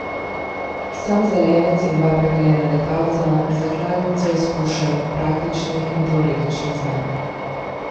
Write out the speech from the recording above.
Sam zelenec in dva prekaljena letalca, z zakladnico izkušenj, praktičnih in teoretičnih znanj.